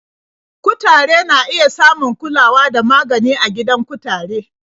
Kutare na iya samun kulawa da magani a gidan kutare.